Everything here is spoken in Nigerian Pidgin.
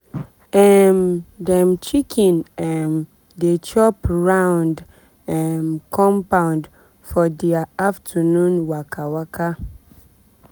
um dem chicken um dey chop round um compound for dia afternoon waka waka.